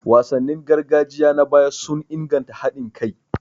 Wasannin gargajiya na baya sun inganta haɗin kai.